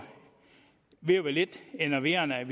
ved at være lidt enerverende at